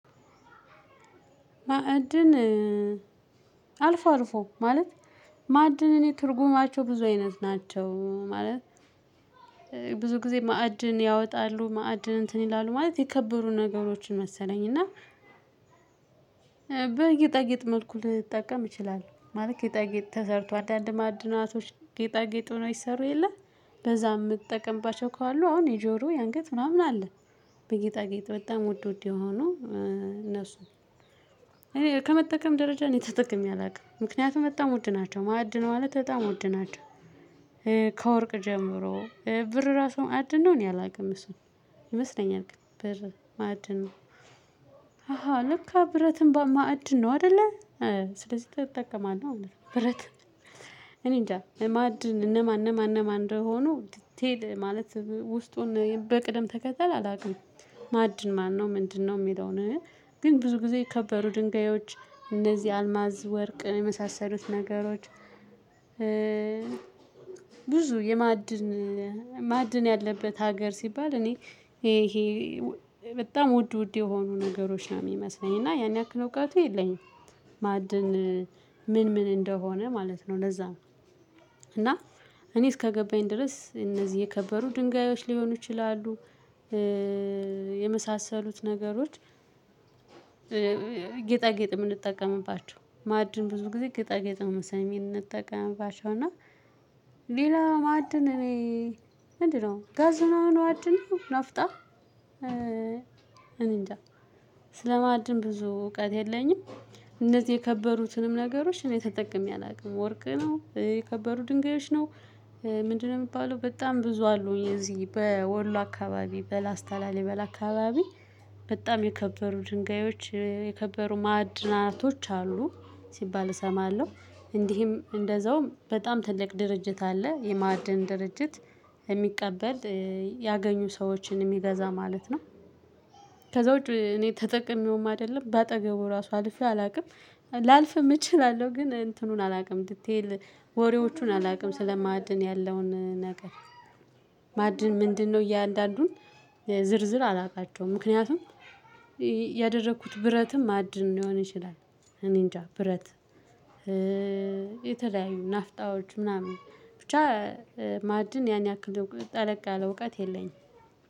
ማዕድን አልፎ አልፎ ማለት። ማዕድን እኔ ትርጉማቸው ብዙ አይነት ናቸው ማለት። ብዙ ጊዜ ማዕድን ያወጣሉ ማዕድን እንትን ይላሉ ማለት የከበሩ ነገሮችን መሰለኝ እና። በጌጠይጥ መልኩ ልትጠቀም ይችላል ማለት ጌጣጌጥ ተሰርቶ አንዳንድ ማዕድናቶች ጌጣጌጥ ሆነው ይሰሩ የለ። በዛ የምጠቀምባቸው ካሉ አሁን የጆሮ የአንገት ምናምን አለ። በጌጣጌጥ በጣም ውድ ውድ የሆኑ እነሱን። እኔ ከመጠቀም ደረጃ ነው እኔ ተጠቅሜ አላውቅም ምክንያቱም በጣም ውድ ናቸው ማዕድን ማለት በጣም ውድ። ከወርቅ ጀምሮ ብር ራሱ ማዕድን ነው። እኔ አላውቅም እሱን ይመስለኛል ግን ማዕድን ነው። አሃ ልክ ብረትም ማዕድን ነው አይደለ? ስለዚህ ትጠቀማለህ እውነት ብረት። እኔ እንጃ ማዕድን እነማን እነማን እነማን እንደሆኑ ዲቴል ማለት ውስጡን በቅደም ተከተል አላውቅም። ማዕድን ማነው ምንድነው የሚለውን? ግን ብዙ ጊዜ የከበሩ ድንጋዮች እነዚህ አልማዝ ወርቅ የመሳሰሉት ነገሮች። ብዙ የማዕድን ማዕድን ያለበት ሀገር ሲባል እኔ ይሄ ይሄ በጣም ውድ ውድ የሆኑ ነገሮች ነው የሚመስለኝ እና ያን ያክል እውቀቱ የለኝም። ማዕድን ምን ምን እንደሆነ ማለት ነው ለዛ ነው። እና እኔ እስከገባኝ ድረስ እነዚህ የከበሩ ድንጋዮች ሊሆኑ ይችላሉ። የመሳሰሉት ነገሮች። ጌጣጌጥ የምንጠቀምባቸው ማዕድን ብዙ ጊዜ ጌጣጌጥ መሰለሜ እንጠቀምባቸው እና። ሌላ ማዕድን እኔ ምንድነው ጋዝናም አሁን ማዕድን ናፍጣ። እኔንጃ ስለማድን ብዙ እውቀት የለኝም። እነዚህ የከበሩትንም ነገሮች እኔ ተጠቅሜ አላውቅም ወርቅ ነው የከበሩ ድንጋዮች ነው። ምንድነው የሚባለው በጣም ብዙ አሉ የዚህ በወሎ አካባቢ በላስታ ላሊበላ አካባቢ። በጣም የከበሩ ድንጋዮች የከበሩ ማዕድናቶች አሉ ሲባል እሰማለሁ። እንዲህም እንደዛውም በጣም ትልቅ ድርጅት አለ የማዕድን ድርጅት የሚቀበል ያገኙ ሰዎችን የሚገዛ ማለት ነው። ከዛ ውጪ እኔ ተጠቅሜውም አይደለም በአጠገቡ ራሱ አልፌው አላውቅም። ላልፍም እችላለሁ ግን እንትኑን አላውቅም ዲቴል ወሬዎቹን አላውቅም ስለ ማዕድን ያለውን ነገር። ማዕድን ምንድነው? እያንዳንዱን ዝርዝር አላቃቸውም ምክንያቱም። ያደረኩት ብረትም ማዕድን ሊሆን ይችላል። እኔ እንጃ ብረት። የተለያዩ ናፍጣዎች ምናምን ብቻ ማዕድን ያን ያክል ጠለቅ ያለ እውቀት የለኝ።